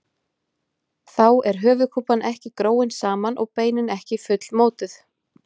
Þá er höfuðkúpan ekki gróin saman og beinin ekki fullmótuð.